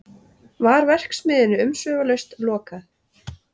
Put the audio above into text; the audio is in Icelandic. Var verksmiðjunni umsvifalaust lokað